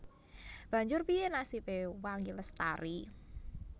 Banjur piyé nasibé Wangi Lestari